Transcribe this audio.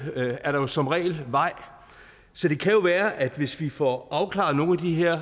er der jo som regel vej så det kan jo være at vi hvis vi får afklaret nogle af de her